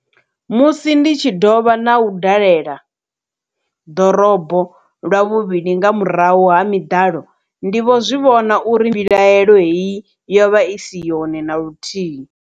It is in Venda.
Musi ndi tshi dovha u dalela ḓorobo lwa vhuvhili nga murahu ha miḓalo, ndi vho zwi vhona uri mbilahelo heyi yo vha isi yone na luthihi.